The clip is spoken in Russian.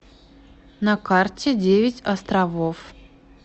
на карте девять островов